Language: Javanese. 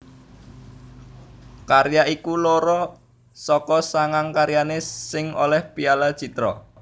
Karya iku loro saka sangang karyané sing olèh piala Citra